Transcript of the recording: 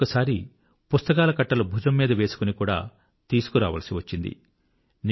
ఒక్కొక్కసారి పుస్తకాల కట్టలు భుజం మీద మోసుకొని కూడా తీసుకురావాల్సి వచ్చింది